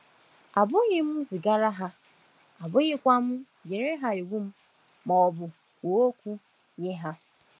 Abụghị m zigaala ha, abụghịkwa m nyere ha iwu ma ọ bụ kwuo okwu nye ha.